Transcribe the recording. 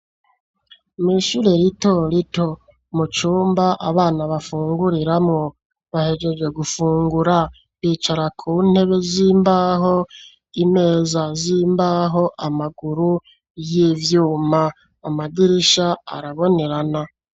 Mw'ishure rito rito, mu cumba abana bafunguriramwo, bahejeje gufungura, bicara ku ntebe z'imbaho, imeza z'imbaho, amaguru y'ivyuma; amadirisha arabonerana.